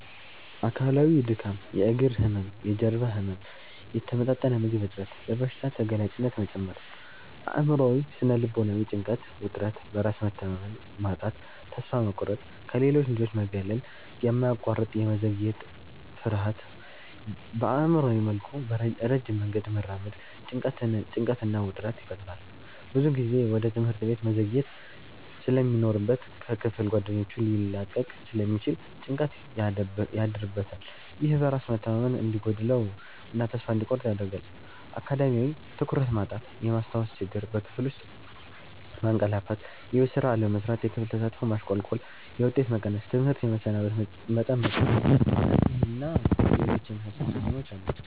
አካላዊ:-ድካም፣ የእግር ህመም፣ የጀርባ ህመም፣ የተመጣጠነ ምግብ እጥረት፣ ለበሽታ ተጋላጭነት መጨመር። አእምሯዊ / ስነ-ልቦናዊ:-ጭንቀት፣ ውጥረት፣ በራስ መተማመን ማጣት፣ ተስፋ መቁረጥ፣ ከሌሎች ልጆች መገለል፣ የማያቋርጥ የመዘግየት ፍርሃት። በአእምሯዊ መልኩ ረጅም መንገድ መራመድ ጭንቀትና ውጥረት ይፈጥራል። ብዙ ጊዜ ወደ ትምህርት ቤት መዘግየት ስለሚኖርበት ከክፍል ጓደኞቹ ሊላቀቅ ስለሚችል ጭንቀት ያድርበታል። ይህ በራስ መተማመን እንዲጎድለው እና ተስፋ እንዲቆርጥ ያደርጋል። አካዳሚያዊ:-ትኩረት ማጣት፣ የማስታወስ ችግር፣ በክፍል ውስጥ ማንቀላፋትየቤት ስራ አለመስራት፣ የክፍል ተሳትፎ ማሽቆልቆል፣ የውጤት መቀነስ፣ ትምህርት የመሰናበት መጠን መጨመር። እነዚህን እና ሌሎች የመሳሰሉ ተጽዕኖዎች አሉት።